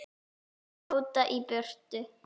Þeir þjóta í burtu.